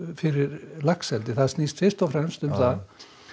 fyrir laxeldi það snýst fyrst og fremst um það